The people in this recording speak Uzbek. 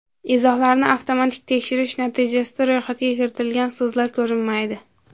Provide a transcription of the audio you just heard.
Izohlarni avtomatik tekshirish natijasida ro‘yxatga kiritilgan so‘zlar ko‘rinmaydi.